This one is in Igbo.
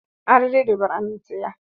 Arịrị rịbara n'ìtè ya.